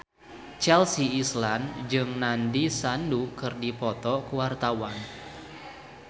Chelsea Islan jeung Nandish Sandhu keur dipoto ku wartawan